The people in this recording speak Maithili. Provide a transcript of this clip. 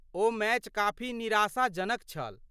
ओ मैच काफी निराशाजनक छल।